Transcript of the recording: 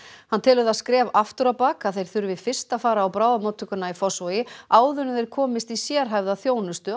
hann telur það skref aftur á bak þeir þurfi fyrst að fara á bráðamóttökuna í Fossvogi áður en þeir komast í sérhæfða þjónustu